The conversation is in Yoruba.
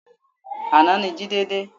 Àná ni Jide dé